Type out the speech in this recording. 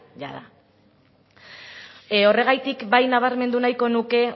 jada horregatik bai nabarmendu nahiko nuke